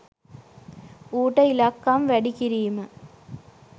ඌට ඉලක්කම් වැඩි කිරීම